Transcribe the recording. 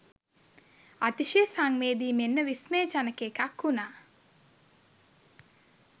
අතිශය සංවේදී මෙන්ම විස්මයජනක එකක් වුණා.